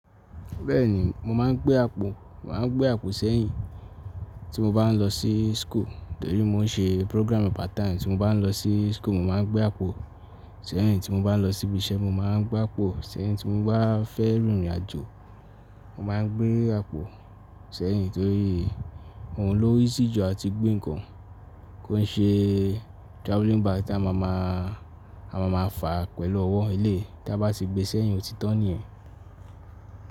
Bẹ́ẹ̀ni, mo máà ń gbé àpò. Mo máà ń gbé àpò sẹ́yìn tí mo bá n lọ sí school nítorí mo n ṣe program part time. Tí mo bá n lọ sí school, mo máa n gbé àpò. Sẹ́yìn tí mo bá n lọ síbi iṣẹ́, mo máa n gbé àpò. Sẹ́yìn tí mo bá fẹ́ rìnrìn àjò, mo máa n gbé àpò sẹ́yìn torí òun lo easy ju àti gbé nǹkan kó ǹ ṣe travelling bag tí a máa máa, a máa máa fàá pẹ̀lú ọwọ́, eleyi tí a bá ti gbé sẹ́yìn òtítan nìyẹn.